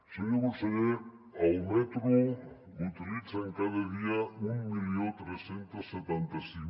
senyor conseller el metro l’utilitzen cada dia tretze setanta cinc